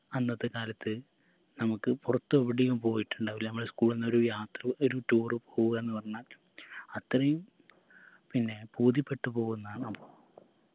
അന്നത്തെ കാലത്ത് നമുക്ക് പുറത്തെവിടെയും പോയിട്ടുണ്ടാവില്ല നമ്മള് school ന്നൊരു യാത്ര ഒരു tour പോവു ആന്ന് പറഞ്ഞാൽ അത്രയുംപിന്നെ ബോധ്യപ്പെട്ടു പോവുന്ന ന